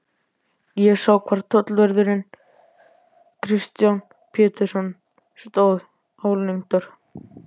Ég sá hvar tollvörðurinn Kristján Pétursson stóð álengdar.